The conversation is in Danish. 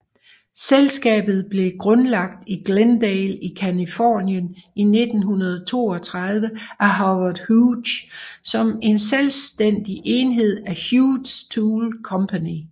Selskabet blev grundlagt i Glendale i Californien i 1932 af Howard Hughes som en selvstændig enhed af Hughes Tool Company